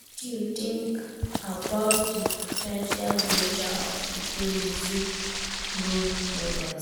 Wetin you know about di po ten tial dangers of idolizing role models?